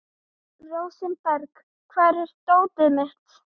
Rósinberg, hvar er dótið mitt?